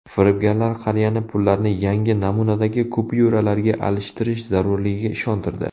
Firibgarlar qariyani pullarni yangi namunadagi kupyuralarga alishtirish zarurligiga ishontirdi.